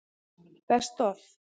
Best Of?